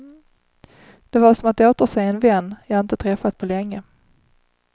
Det var som att återse en vän jag inte träffat på länge.